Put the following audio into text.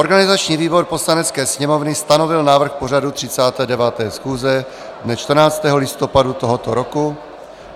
Organizační výbor Poslanecké sněmovny stanovil návrh pořadu 39. schůze dne 14. listopadu tohoto roku.